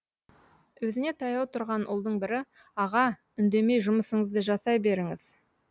өзіне таяу тұрған ұлдың бірі аға үндемей жұмысыңызды жасай беріңіз